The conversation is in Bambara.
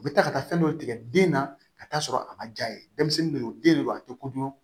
U bɛ taa ka taa fɛn dɔ tigɛ den na ka taa sɔrɔ a ma ja ye denmisɛnnin de don den de do a tɛ kodɔn